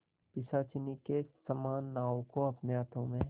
पिशाचिनी के समान नाव को अपने हाथों में